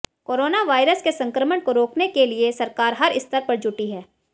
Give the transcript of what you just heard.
corona virus के संक्रमण को रोकने के लिये सरकार हर स्तर पर जुटी है